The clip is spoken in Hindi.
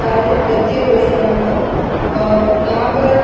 सारे रखे हुए है यहाँ पर और यहाँ पर--